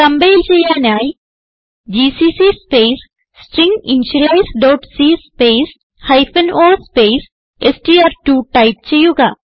compile ചെയ്യാനായി GCC space stringinitializeസി space o space STR two type ചെയ്യുക